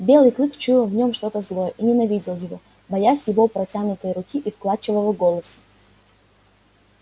белый клык чуял в нём что-то злое и ненавидел его боясь его протянутой руки и вкрадчивого голоса